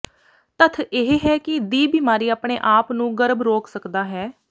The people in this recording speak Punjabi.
ਤੱਥ ਇਹ ਹੈ ਕਿ ਦੀ ਬਿਮਾਰੀ ਆਪਣੇ ਆਪ ਨੂੰ ਗਰਭ ਰੋਕ ਸਕਦਾ ਹੈ